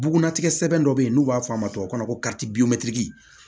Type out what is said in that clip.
Buguna tigɛ sɛbɛn dɔ bɛ yen n'u b'a fɔ a ma tubabu kan na ko